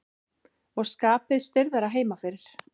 Og skapið stirðara heima fyrir.